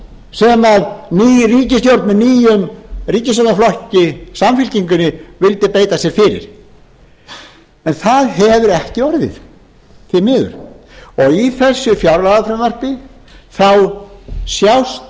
sem ný ríkisstjórn með nýjum ríkisstjórnarflokki samfylkingunni vildi beita sér fyrir en það hefur ekki orðið því miður og í þessu fjárlagafrumvarpi sjást